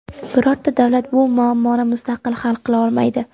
Birorta davlat bu muammoni mustaqil hal qila olmaydi.